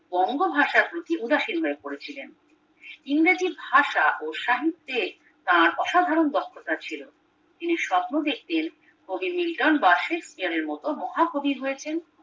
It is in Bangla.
বঙ্গভাষার প্রতি উদাসীন হয়ে পড়েছিলেন ইংরেজি ভাষা ও সাহিত্যে তার অসাধারণ দক্ষতা ছিল তিনি সপ্ন দেখতেন কবি নিল্টন বা শেক্সপিয়ারের মতো মহা কবি হয়েছেন